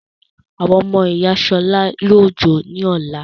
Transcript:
Àwọn ọmọ ìyá Ṣọlá yóò jó ní ọ̀la.